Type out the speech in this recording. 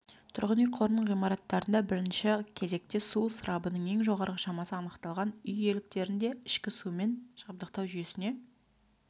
тұрғын үй қорының ғимараттарында бірінші кезекте су ысырабының ең жоғары шамасы анықталған үй иеліктерінде ішкі сумен жабдықтау жүйесіне